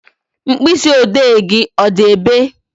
Mkpịsị odee gị ọ dị ebe?